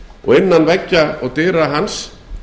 og innan veggja og dyra hans